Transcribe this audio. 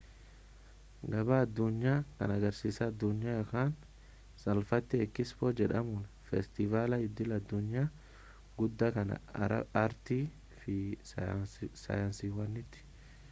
gabaa addunyaa kan agarsiisa addunyaa ykn salphaamatti ekispoo jedhamuun feestivaala idil-addunyaa guddaa kan aartii fi saayinsiiwwaniiti